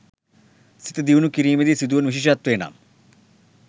සිත දියුණු කිරීමේදී සිදුවන විශේෂත්වය නම්